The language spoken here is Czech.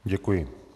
Děkuji.